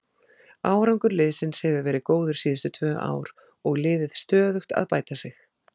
Árangur liðsins hefur verið góður síðustu tvö ár og liðið stöðugt að bæta sig.